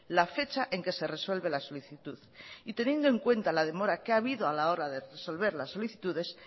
la fecha en que se resuelve la solicitud y teniendo en cuenta la demora que ha habido a la hora de resolver las solicitudes